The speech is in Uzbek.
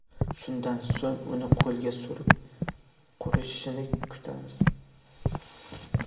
Shundan so‘ng uni qo‘lga surib, qurishini kutamiz.